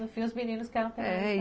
No fim, os meninos que eram penalizados